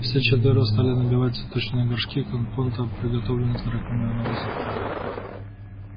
все четверо стали набивать цветочные горшки компотом приготовленным из драконьего навоза